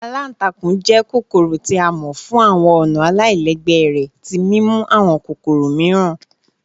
Àlàntàkùn jẹ́ kokoro ti a mọ fun awọn ọna alailẹgbẹ rẹ ti mimu awọn kokoro miiran